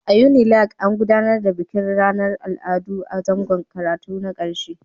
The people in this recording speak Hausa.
A Unilag, an gudanar da bikin ranar Al'adu a zangon karatu na ƙarshe